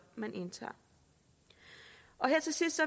man indtager her til sidst